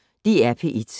DR P1